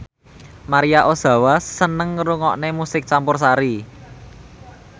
Maria Ozawa seneng ngrungokne musik campursari